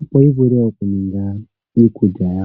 opo yi vule oku ninga iikulya yawo.